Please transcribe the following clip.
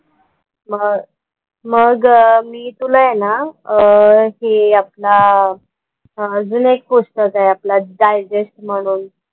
म मग मी तुला आहे ना अह हे अपना अजून एक पुस्तक आहे अपना digest म्हणून.